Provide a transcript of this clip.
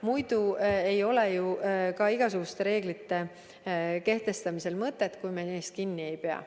Muidu ei ole ju ka igasuguste reeglite kehtestamisel mõtet, kui me neist kinni ei pea.